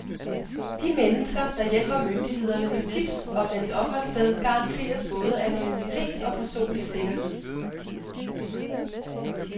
De mennesker, der hjælper myndighederne med tips om hans opholdssted, garanteres både anonymitet og personlig sikkerhed.